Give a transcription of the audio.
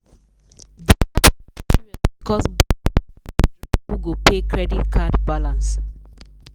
divorce case serious because both people dey drag who go pay credit card balance.